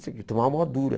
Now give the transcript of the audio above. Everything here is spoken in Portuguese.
Tomar uma dura.